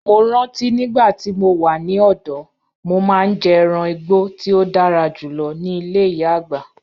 Mo ranti nigbati mo wa ni ọdọ, mo maa n jẹ ẹran igbo ti o dara julọ ni ile iya-agba